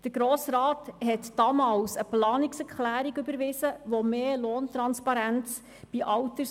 Damals überwies der Grosse Rat eine Planungserklärung, die in Alters- und Behindertenheimen mehr Lohntransparenz verlangte.